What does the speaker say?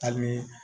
Hali ni